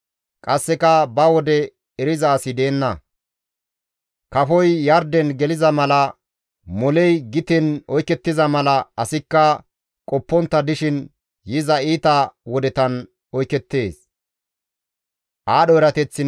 Qasseka ba wode eriza asi deenna; kafoy yarden geliza mala, moley giten oykettiza mala, asikka qoppontta dishin yiza iita wodetan oykettees.